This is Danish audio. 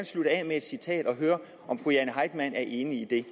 slutte af med et citat og høre om fru jane heitmann er enig i det